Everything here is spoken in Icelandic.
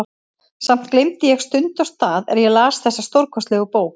Samt gleymdi ég stund og stað er ég las þessa stórkostlegu bók.